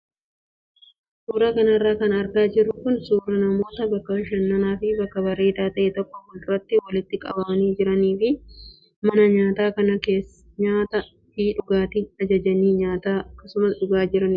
Suuraa kanarra kan argaa jirru kun suuraa namoota bakka bashannanaa fi bakka bareedaa ta'e tokko fuulduratti walitti qabamanii jiranii fi mana nyaataa kanaa nyaataa fi dhugaatii ajajanii nyaataa akkasumas dhugaa jiru.